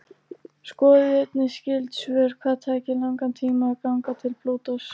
Skoðið einnig skyld svör: Hvað tæki langan tíma að ganga til Plútós?